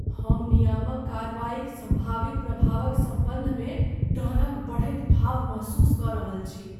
हम नियामक कार्रवाईक सम्भावित प्रभावक सम्बन्धमे डरक बढ़ैत भाव महसूस कऽ रहल छी।